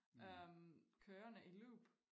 Øh kørende i loop